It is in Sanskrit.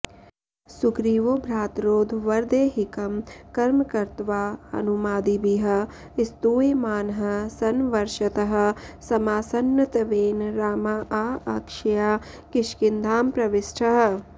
सुग्रीवो भ्रातरौर्ध्वदेहिकं कर्म कृत्वा हनूमादिभिः स्तूयमानः सन् वर्षतः समासन्नत्वेन रामाऽऽक्षया किष्किन्धां प्रविष्टः